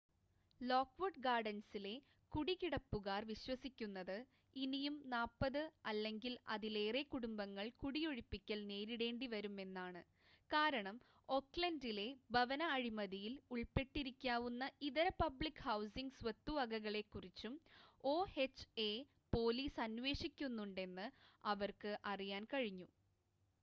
lock would ഗാർഡൻസിലെ കുടികിടപ്പുകാർ വിശ്വസിക്കുന്നത് ഇനിയും 40 അല്ലെങ്കിൽ അതിലേറെ കുടുംബങ്ങൾ കുടിയൊഴിപ്പിക്കൽ നേരിടേണ്ടിവരും എന്നാണ്, കാരണം ഓഖ്ലൻഡിലെ ഭവന അഴിമതിയിൽ ഉൾപ്പെട്ടിരിക്കാവുന്ന ഇതര പബ്ലിക് ഹൗസിംഗ് സ്വത്തുവകകളെക്കുറിച്ചും oha പോലീസ് അന്വേഷിക്കുന്നുണ്ടെന്ന് അവർക്ക് അറിയാൻ കഴിഞ്ഞു